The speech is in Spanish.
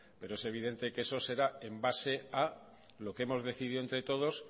pero es evidente que eso será en base a lo que hemos decidido entre todos